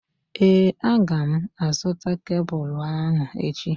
Ee, a gá m a zụta kebụlụ ahụ echi